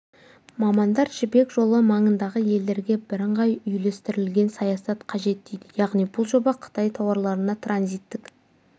мамандар жібек жолы маңындағы елдерге бірыңғай үйлестірілген саясат қажет дейді яғни бұл жоба қытай тауарларына транзиттік